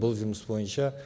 бұл жұмыс бойынша